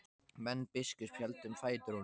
Menn biskups héldu um fætur honum.